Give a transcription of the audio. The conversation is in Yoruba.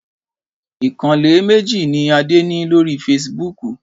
Ìkànnlé méjì ní Adé ní lórí feṣibúkù.